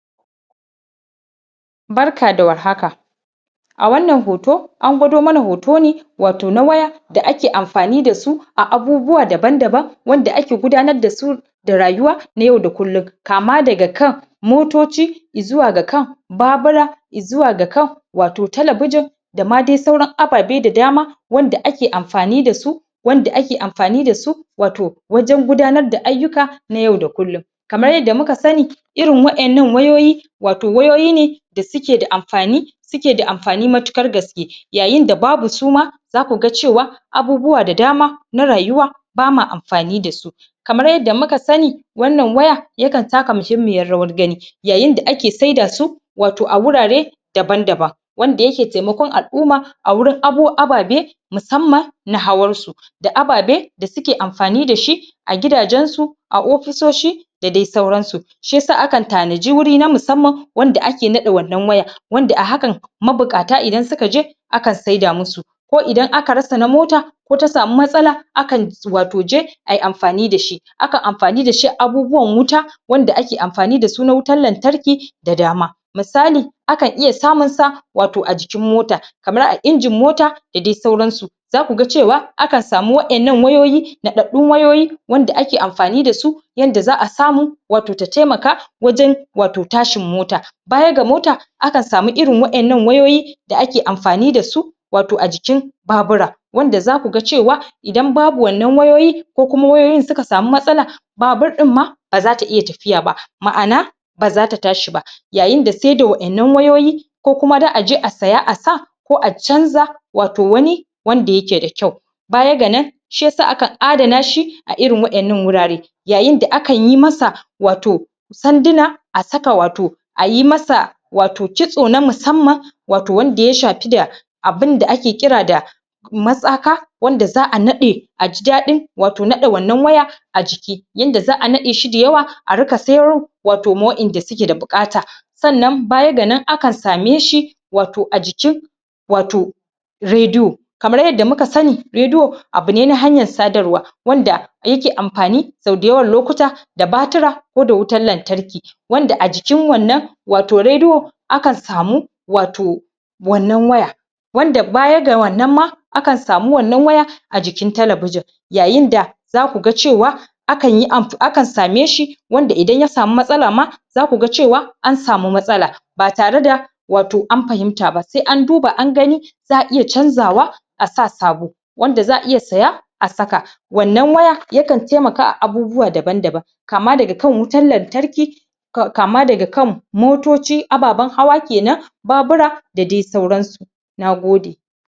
Barka da war haka a wannan hoto an gwado mana hoto ne wato na waye da ake amfani da su a abubuwa daban-daban wanda ake gudanar da su da rayuwa na yau da kullum kama daga kan motoci izuwa ga kan babura izuwa ga kan wato talabijin da ma de sauran ababe da dama wanda ake amfani da su wanda ake amfani da su wato wajen gudanar da ayyuka na yau da kullum kamar yadda muka sani irin waƴannan wayoyi wato wayoyi ne da suke da amfani suke da amfani matukar gaske yayin da babu su ma za ku ga cewa abubuwa da dama na rayuwa ba ma amfani da su kamar yadda muka sani wannan waya ya kan taka muhimmiyar rawa gani yayin da ake saida su wato a wurare daban-daban wanda yake temakon al'uma a wurin ababe musamman na hawarsu da ababe da suke amfani da shi a gidajensu a ofisoshi da de sauransu shi yasa akan tanaji wuri na musamman wanda ake naɗa wannan waya wanda a hakan mabuƙata idan su ka je akan seda musu ko idan aka rasa na mota ko ta samu matsala akan wato je ai amfani da shi akan amfani da shi a abubuwan wuta wanda ake amfani da su na wutar lantarki da dama misali akan iya samun sa wato a jikin mota kamar a injin mota da de sauransu za ku ga cewa akan samu waƴannan wayoyi naɗaɗɗun wayoyi wanda ake amfani da su yanda za a samu wato ta temaka wajen wato tashin mota baya ga mota akan samu irin waƴannan wayoyi da ake amfani da su wato a jikin babura wanda za ku ga cewa idan babu wannan wayoyi ko kuma wayoyin su ka samu matsala babur ɗin ma ba za ta iya tafiya ba ma'ana ba za ta tashi ba yayin da sai da waƴannan wayoyi ko kuma da a aje a saya a sa ko a canza wato wani wanda yake da kyau baya ga nan shi yasa akan adana shi a irin waƴannan wurare yayin da akan yi masa wato tandina a saka wato a yi masa wato kitso na musamman wato wanda ya shafi da abin da ake ƙira da matsaka wanda za a naɗe a ji daɗin wato naɗe wannan waya a jiki yanda za a naɗe shi dayawa a rika sayar wato ma waƴanda suke da bukata sannan baya ga nan akan same shi wato a jikin wato rediyo kamar yadda muka sani rediyo abu ne na hanyar sadarwa wanda yake amfani sau dayawan lokuta da batira ko da wutar lantarki wanda a jikin wannan wato rediyo akan samu wato wannan waya wanda baya ga wannan ma akan samu wannan waya a jikin talabijin yayin da za ku ga cewa akan yi amf... akan same shi wanda idan ya samu matsala ma za ku ga cewa an samu matsala ba tare da wato an fahimta ba se an duba an gani za a iya canzawa a sa sabo wanda za a iya saya a saka wannan waya ya kan taimaka a abubuwa daban-daban kama daga kan wutar lantarki kama daga kan motoci ababen hawa kenan babura da de sauransu na gode